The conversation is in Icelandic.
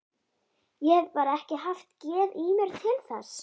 Ég hef bara ekki haft geð í mér til þess.